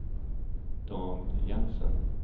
Dan Jensen